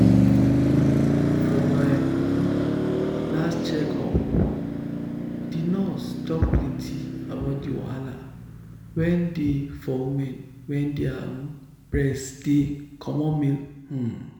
um for my um last check up the nurse talk plenty about the wahala wen dey for women wen their um breast dey comot milk um